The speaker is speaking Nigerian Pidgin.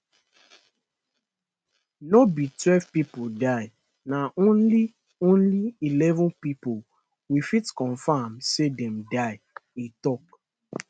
no be twelve pipo die na only only eleven pipo we fit confam say dem die e tok